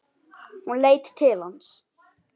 Hún leit til hans.